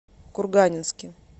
курганинске